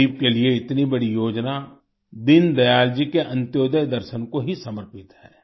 गरीब के लिए इतनी बड़ी योजना दीन दयाल जी के अंत्योदय दर्शन को ही समर्पित है